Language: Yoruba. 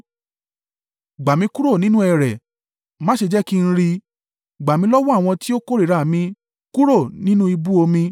Gbà mí kúrò nínú ẹrẹ̀, má ṣe jẹ́ kí n rì; gbà mí lọ́wọ́ àwọn tí ó kórìíra mi, kúrò nínú ibú omi.